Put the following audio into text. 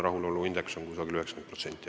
Rahuloluindeks on ligi 90%.